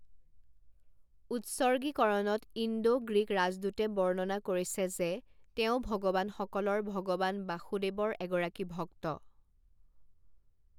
উৎসৰ্গীকৰণত Indo Greek ৰাজদূতে বৰ্ণনা কৰিছে যে তেওঁ 'ভগৱানসকলৰ ভগৱান বাসুদেৱৰ এগৰাকী ভক্ত।